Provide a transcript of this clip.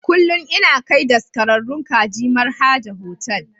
Kullum ina kai daskararrun kaji Mar'haja Hotel.